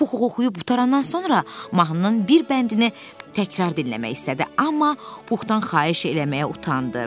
Pux oxuyub qurtarandan sonra mahnının bir bəndini təkrar dinləmək istədi, amma Puxdan xahiş eləməyə utandı.